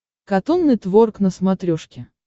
катун нетворк на смотрешке